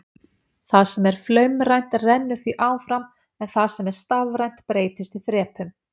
Það sem er flaumrænt rennur því áfram en það sem er stafrænt breytist í þrepum.